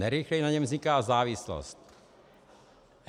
Nejrychleji na něm vzniká závislost.